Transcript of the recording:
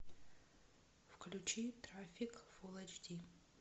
включи трафик фул эйч ди